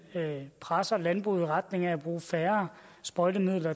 presser landbruget i retning af at bruge færre sprøjtemidler